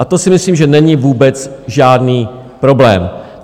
A to si myslím, že není vůbec žádný problém.